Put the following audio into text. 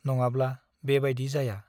नङाब्ला बे बाइदि जाया ।